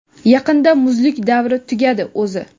Yaqinda muzlik davri tugadi o‘zi).